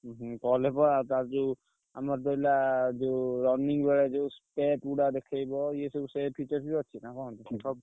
ହୁଁ ହୁଁ call ତାର ଯୋଉ ଆମର ରହିଲା ଯୋଉ running ବେଳେ ଯୋଉ ପୁଡା ଦେଖେଇବ। ଇଏ ସବୁ ସେ features ବି ଅଛି ନା କଣ? ।